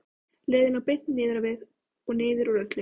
Leiðin lá beint niður á við og niður úr öllu.